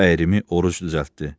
O əyrimi oruc düzəltdi.